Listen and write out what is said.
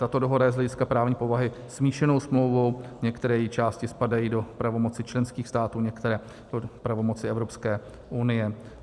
Tato dohoda je z hlediska právní povahy smíšenou smlouvou, některé její části spadají do pravomoci členských států, některé do pravomoci Evropské unie.